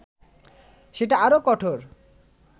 সেটা আরও কঠোর